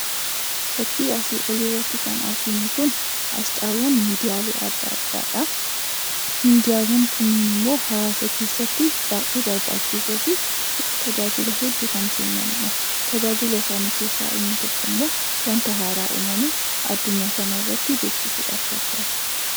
Fakkiin asii gaditti arginu kun aasxaawwan miidiyaa addaa addaa kan ibsuu dha. Miidiyaawwan hawwaasaa addaa addaa kun immoo hawwaasa keessatti odeeffannoo tamsaasuuf kan tajaajiluu dha.